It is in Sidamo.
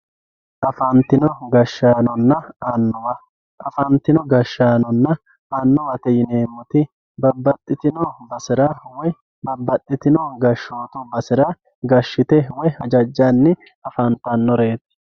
afatino gashshaanonna annuwa afatino gashshaanonna annuwate yineemoti babbaxitino basera woye babbaxitino gashshootu basera gashshitte woy hajajjanni afantanooreeti.